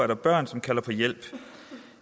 der børn som kalder på hjælp